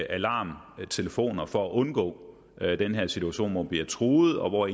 alarmtelefoner for at undgå den situation at de bliver truet og at